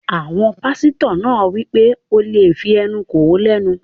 Àwọn pásítọ̀ náà wí pé, "O lè fí ẹnu kò ó lẹ́nu!"